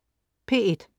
P1: